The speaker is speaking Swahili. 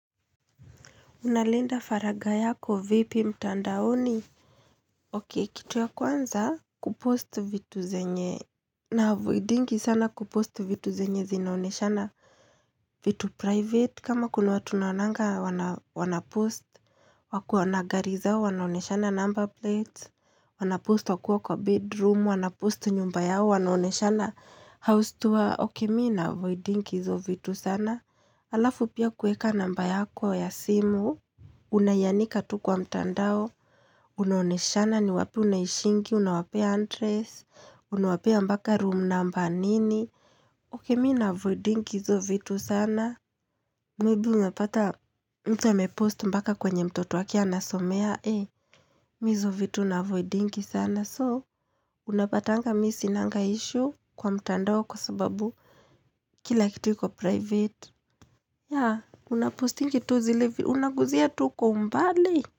Unalinda faraga yako vipi mtandaoni? Okay kitu ya kwanza kupost vitu zenye Naavoidingi sana kupost vitu zenye zinaoneshana vitu private kama kuna watu naonanga wana wanapost wakiwa na gari zao wanaonyeshana number plates Wanapost wakiwa kwa bedroom wanapost nyumba yao wanaonyeshana house tour Okay mimi naavoidingi hizo vitu sana Alafu pia kuweka namba yako ya simu Unaianika tu kwa mtandao Unaonyeshana ni wapi unaishingi Unawapea address Unawapea mpaka room number nini Okay mimi naavoidingi hizo vitu sana Maybe napata mtu amepost mpaka kwenye mtoto wake anasomea mimi hizo vitu naavoidingi sana So, unapatanga mimi sinanga issue kwa mtandao Kwa sababu Kila kitu iko private Yeah, unapostingi tu zile vi Unaguzia tu kwa mbali.